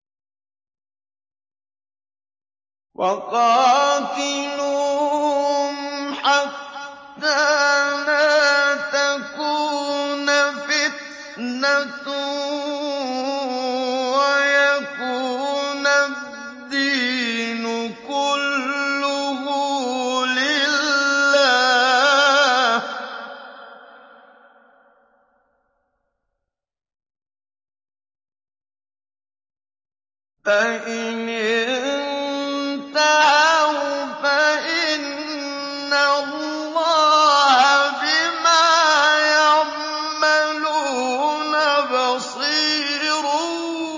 وَقَاتِلُوهُمْ حَتَّىٰ لَا تَكُونَ فِتْنَةٌ وَيَكُونَ الدِّينُ كُلُّهُ لِلَّهِ ۚ فَإِنِ انتَهَوْا فَإِنَّ اللَّهَ بِمَا يَعْمَلُونَ بَصِيرٌ